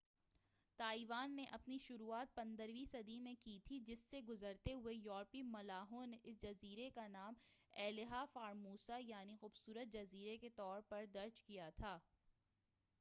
Taiwan نے اپنی شروعات 15 ویں صدی میں کی تھی جہاں سے گزرتے ہوئے یورپی ملاحوں اس جزیرے کا نام ایلہا فارموسہ یعنی خوبصورت جزیرے کے طورپر درج کیا تھا